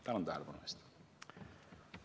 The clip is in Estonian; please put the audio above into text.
Tänan tähelepanu eest!